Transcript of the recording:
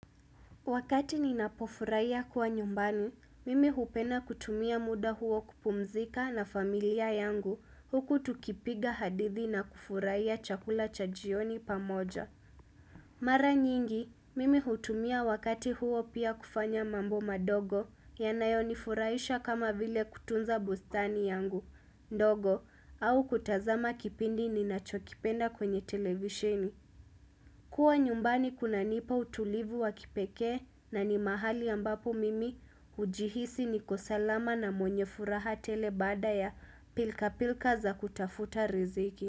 Wakati ninapofurahia kuwa nyumbani, mimi hupenda kutumia muda huo kupumzika na familia yangu huku tukipiga hadithi na kufurahia chakula cha jioni pamoja. Mara nyingi, mimi hutumia wakati huo pia kufanya mambo madogo yanayo nifurahisha kama vile kutunza bustani yangu, ndogo, au kutazama kipindi ninachokipenda kwenye televisheni. Kua nyumbani kuna nipa utulivu wa kipekee na ni mahali ambapo mimi hujihisi niko salama na mwenye furaha tele baada ya pilka pilka za kutafuta riziki.